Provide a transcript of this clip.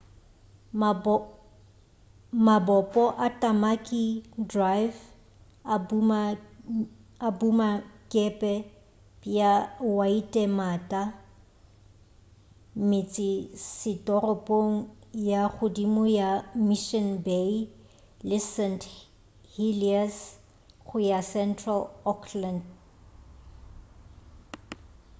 mabopo a tamaki drive a boemakepe bja waitemata metsesetoropong ya godimo ya mission bay le st heliers go la central auckland